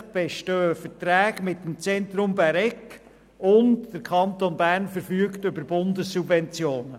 Zusätzlich bestehen Verträge mit dem Zentrum Bäregg, und der Kanton Bern verfügt über Bundessubventionen.